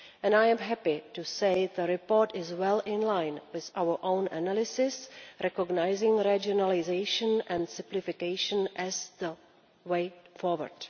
I am happy to say the report is well in line with our own analysis, recognising regionalisation and simplification as the way forward.